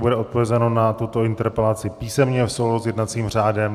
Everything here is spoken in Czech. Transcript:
Bude odpovězeno na tuto interpelaci písemně v souladu s jednacím řádem.